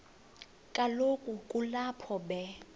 kaloku kulapho be